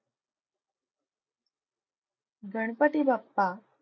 Ganpati Bappa,